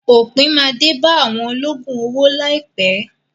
Òpin máa dé bá àwọn olóògùn owó láìpẹ́.